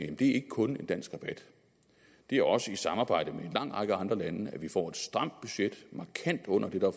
at det ikke kun er en dansk rabat det er også i samarbejde med en lang række andre lande at vi får et stramt budget markant under det der